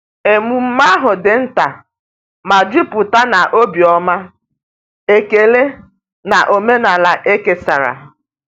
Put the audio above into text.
Emume ahụ di nta ma juputa na obiọma, ekele, na omenala e kesara.